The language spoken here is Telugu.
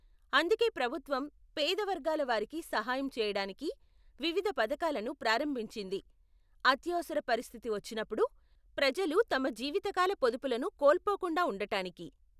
అందుకే ప్రభుత్వం పేద వర్గాల వారికి సహాయం చేయడానికి వివిధ పథకాలను ప్రారంభించింది, అత్యవసర పరిస్థితి వచ్చినప్పుడు ప్రజలు తమ జీవితకాల పొదుపులను కోల్పోకుండా ఉండటానికి.